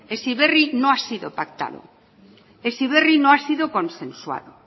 heziberri no ha sido pactado heziberri no ha sido consensuado